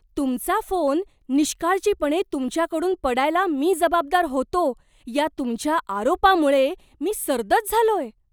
तुमचा फोन निष्काळजीपणे तुमच्याकडून पडायला मी जबाबदार होतो या तुमच्या आरोपामुळे मी सर्दच झालोय.